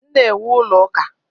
M na-ewu ụlọ ụka.